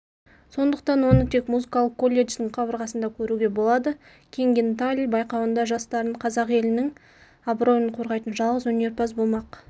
сондықтан оны тек музыкалық колледждің қабырғасында көруге болады кенгинталь байқауында жас дарын қазақ елінің абыройын қорғайтын жалғыз өнерпаз болмақ